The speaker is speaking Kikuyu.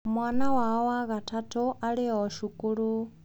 Mwana wao wa gatatũ arĩ o cukuru.